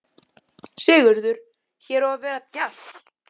Sigurður: Hér á að vera djass?